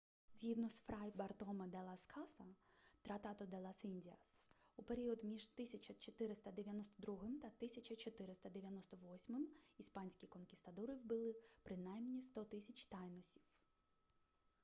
згідно з фрай бартоме де лас каса тратадо де лас індіас у період між 1492 та 1498 іспанські конкістадори вбили принаймі 100 000 тайносів